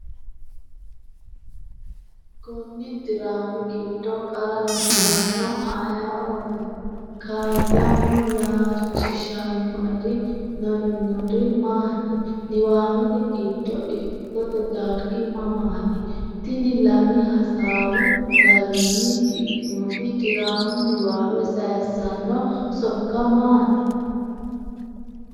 Konni diraami giddo qara misilaano ayeooti? Kaayyamo, “Yaachishannoeri no,” yinori maati? Niwaawete giddo ikkitote dargi mamaati? Tini lami-hasaawu garinni shiqqinoti diraamu niwaawe sayissanno sokka maati?